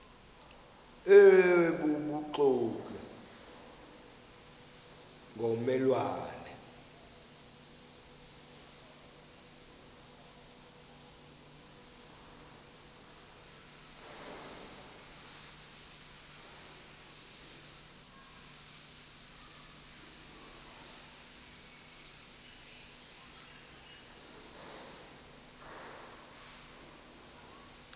obubuxoki ngomme lwane